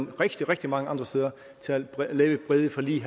er rigtig rigtig mange andre steder til at lave brede forlig